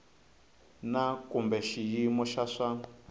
na kumbe xiyimo xa swa